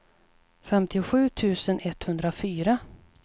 femtiosju tusen etthundrafyra